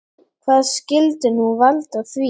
Hvað skyldi nú valda því?